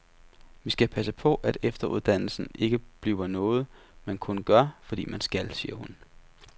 Vi skal passe på, at efteruddannelsen ikke bliver noget, man kun gør, fordi man skal, siger hun.